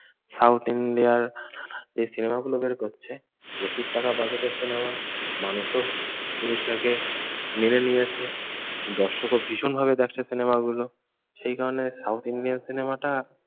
South ইন্ডিয়ার যে সিনেমাগুলো বের করছে প্রচুর টাকা budget এর সিনেমা। মানুষও জিনিসটাকে মেনে নিয়েছে, দর্শকও ভীষণভাবে দেখছে সিনেমাগুলো। সেই কারণে সাউথ ইন্ডিয়ান সিনেমাটা